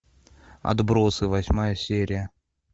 отбросы восьмая серия